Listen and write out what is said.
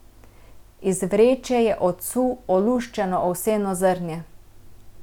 Iz vreče je odsul oluščeno ovseno zrnje.